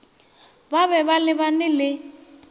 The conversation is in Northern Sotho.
ba be ba lebala le